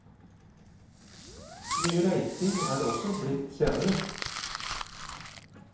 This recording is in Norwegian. Mye reising er det også blitt senere.